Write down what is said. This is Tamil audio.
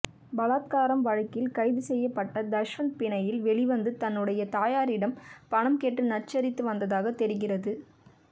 பலாத்காரம் வழக்கில் கைது செய்யப்பட்ட தஷ்வந்த் பிணையில் வெளிவந்து தன்னுடைய தாயாரிடம் பணம் கேட்டு நச்சரித்து வந்ததாக தெரிகிறது